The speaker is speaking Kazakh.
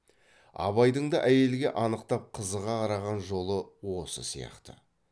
абайдың да әйелге анықтап қызыға қараған жолы осы сияқты